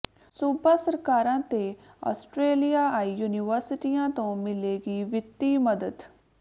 ਸੂਬਾ ਸਰਕਾਰਾਂ ਤੇ ਆਸਟਰੇਲੀਆਈ ਯੂਨੀਵਰਸਿਟੀਆਂ ਤੋਂ ਮਿਲੇਗੀ ਵਿੱਤੀ ਮਦਦ